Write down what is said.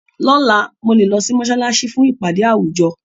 Lọ́la, mo lè lọ sí mọ́ṣáláṣí fún ìpàdé àwùjọ.